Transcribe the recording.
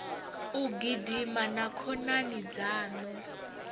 u gidima na khonani dzaṋu